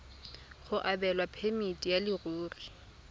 go abelwa phemiti ya leruri